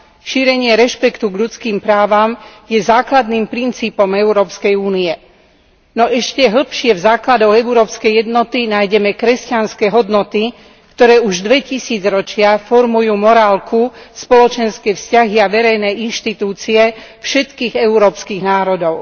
Šírenie rešpektu k ľudským právam je základným princípom Európskej únie. No ešte hlbšie v základoch európskej jednoty nájdeme kresťanské hodnoty, ktoré už dve tisícročia formujú morálku, spoločenské vzťahy a verejné inštitúcie všetkých európskych národov.